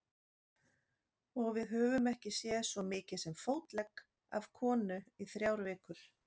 Og við höfum ekki séð svo mikið sem fótlegg af konu í þrjár vikur.